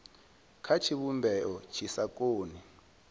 kha tshivhumbeo tshi sa koni